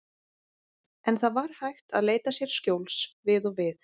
En það var hægt að leita sér skjóls við og við.